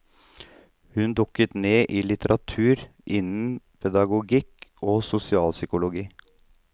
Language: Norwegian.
Hun dukket ned i litteratur innen pedagogikk og sosialpsykologi.